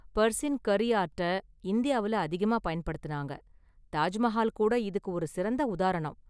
பர்சின் கரி ஆர்ட்ட இந்தியாவுல அதிகமா பயன்படுத்துனாங்க; தாஜ் மஹால் கூட இதுக்கு ஒரு சிறந்த உதாரணம்.